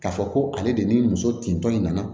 K'a fɔ ko ale de ni muso tintɔ in nana